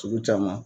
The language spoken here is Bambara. Sugu caman